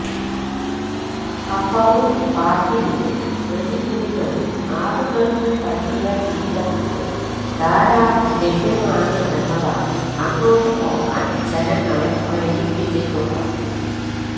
ഹഫറുൽ ബാത്തിനിലെ മരുഭൂമികളിൽ ആടുകൾക്ക് പറ്റിയ തീറ്റപ്പുല്ല് ധാരാളം ലഭ്യമാണ് എന്നതാണ് അങ്ങോട്ട് പോകാൻ ജനങ്ങളെ പ്രേരിപ്പിച്ചിട്ടുള്ളത്